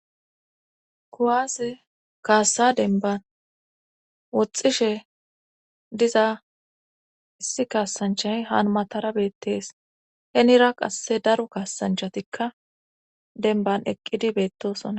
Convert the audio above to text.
Kuwaase kaassa denban woxxishe diza issi kaassanchay hanmatara beettees henira qasse daru kaasanchatikka denban eqqidi beettosona